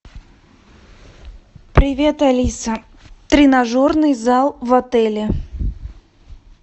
привет алиса тренажерный зал в отеле